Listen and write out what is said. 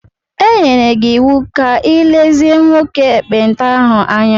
E nyere gị iwu ka ị lezie nwoke ekpenta ahụ anya.